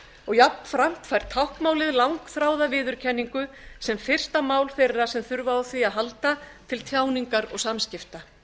og jafnframt fær táknmálið langþráða viðurkenningu sem fyrsta mál þeirra sem þurfa á því að halda til tjáningar og samskipta